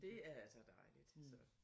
Det er altså dejligt så